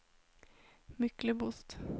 Myklebost